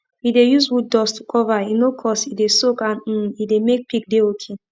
we de use wooddust to cover e no cost e de soak and um e de make pig de okay